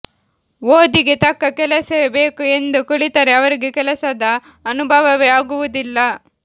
ಓದಿಗೆ ತಕ್ಕ ಕೆಲಸವೇ ಬೇಕು ಎಂದು ಕುಳಿತರೆ ಅವರಿಗೆ ಕೆಲಸದ ಅನುಭವವೇ ಆಗುವುದಿಲ್ಲ